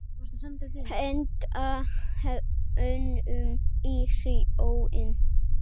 Henda honum í sjóinn!